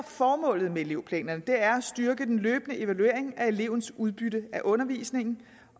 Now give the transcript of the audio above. formålet med elevplanerne er at styrke den løbende evaluering af elevens udbytte af undervisningen